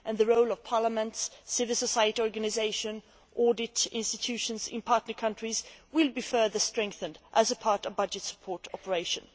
The role of parliaments, civil society organisations and audit institutions in partner countries will be further strengthened as part of a budget support operation.